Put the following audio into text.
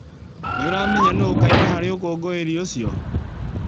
Nĩ ũramenya nũũ ũkaina harĩ ũkũngũĩri ũcio?